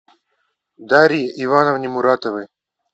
дарье ивановне муратовой